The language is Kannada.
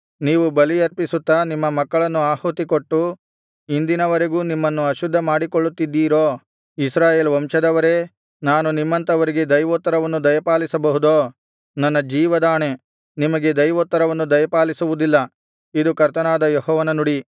ನೀವು ಬಲಿಯರ್ಪಿಸುತ್ತಾ ನಿಮ್ಮ ಮಕ್ಕಳನ್ನು ಆಹುತಿಕೊಟ್ಟು ಇಂದಿನವರೆಗೂ ನಿಮ್ಮನ್ನು ಅಶುದ್ಧ ಮಾಡಿಕೊಳ್ಳುತ್ತಿದ್ದೀರೋ ಇಸ್ರಾಯೇಲ್ ವಂಶದವರೇ ನಾನು ನಿಮ್ಮಂಥವರಿಗೆ ದೈವೋತ್ತರವನ್ನು ದಯಪಾಲಿಸಬಹುದೋ ನನ್ನ ಜೀವದಾಣೆ ನಿಮಗೆ ದೈವೋತ್ತರವನ್ನು ದಯಪಾಲಿಸುವುದಿಲ್ಲ ಇದು ಕರ್ತನಾದ ಯೆಹೋವನ ನುಡಿ